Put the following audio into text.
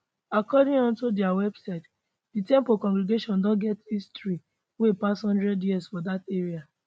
according ot dia website di temple congregation don get history wey pass one hundred years for dat area